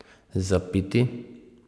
Za piti?